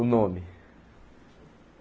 O nome.